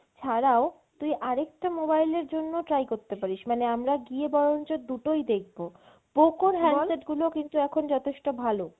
ছাড়াও তুই আরও একটা mobile এর জন্য try করতে পারিস মানে আমরা গিয়ে বরঞ্চ দুটোই দেখবো Poco handset গুলো কিন্তু এখন যথেষ্ট ভালো।